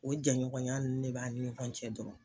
O jɛɲɔgɔnya nunnu ne b'an ni ɲɔgɔn cɛ dɔrɔn.